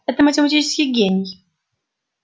это математический гений